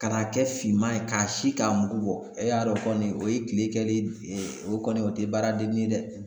Ka n'a kɛ finman ye k'a si k'a mugu bɔ, e y'a dɔn kɔni o ye kile kɛlen de o kɔni o te baaradeni ye dɛ.